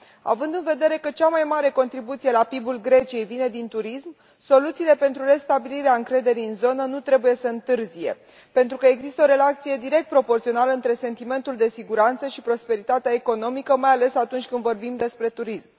Având în vedere că cea mai mare contribuție la PIB ul Greciei vine din turism, soluțiile pentru restabilirea încrederii în zonă nu trebuie să întârzie, pentru că există o relație direct proporțională între sentimentul de siguranță și prosperitatea economică, mai ales atunci când vorbim despre turism.